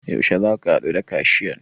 Yaushe zaka haɗu da kashiyan?